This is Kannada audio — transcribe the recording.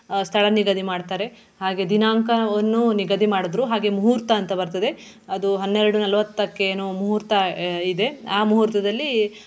ಆಹ್ ಸ್ಥಳ ನಿಗದಿ ಮಾಡ್ತಾರೆ ಹಾಗೆ ದಿನಾಂಕವನ್ನು ನಿಗದಿ ಮಾಡುದ್ರು ಹಾಗೆ ಮುಹೂರ್ತಂತ ಬರ್ತದೆ ಅದು ಹನ್ನೆರಡು ನಲ್ವತ್ತಕ್ಕೆನೋ ಮುಹೂರ್ತ ಆಹ್ ಇದೆ ಆ ಮುಹೂರ್ತದಲ್ಲಿ.